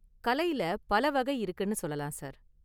கலையில பல​ வகை இருக்குனு சொல்லலாம், சார்.